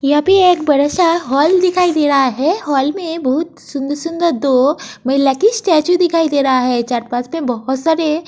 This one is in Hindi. यहाँ पे एक बड़ा-सा हॉल दिखाई दे रहा है। हॉल में बहुत सुंदर-सुन्दर दो महिला की स्टैचू दिखाई दे रहा है। पे बहुत सारे --